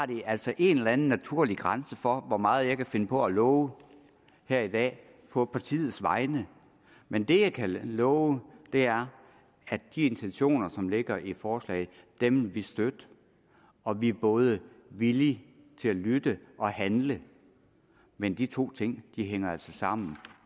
der altså en eller anden naturlig grænse for hvor meget jeg kan finde på at love her i dag på partiets vegne men det jeg kan love er at de intentioner som ligger i forslaget vil vi støtte og vi er både villige til at lytte og handle men de to ting hænger altså sammen